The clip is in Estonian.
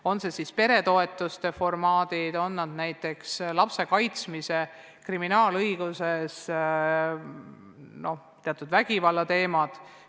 On need siis peretoetused, on need kriminaalõiguses lapse kaitsmise ja teatud vägivallateemad.